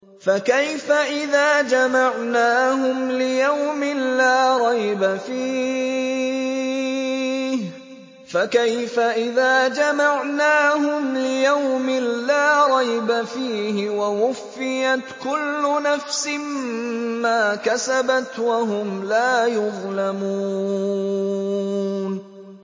فَكَيْفَ إِذَا جَمَعْنَاهُمْ لِيَوْمٍ لَّا رَيْبَ فِيهِ وَوُفِّيَتْ كُلُّ نَفْسٍ مَّا كَسَبَتْ وَهُمْ لَا يُظْلَمُونَ